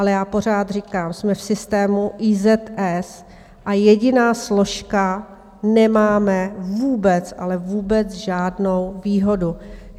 Ale já pořád říkám: Jsme v systému IZS a jediná složka nemáme vůbec, ale vůbec žádnou výhodu.